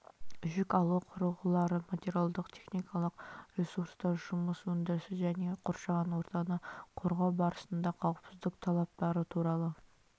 жүк алу құрылғылары материалдық техникалық ресурстар жұмыс өндірісі және қоршаған ортаны қорғау барысында қауіпсіздік талаптары туралы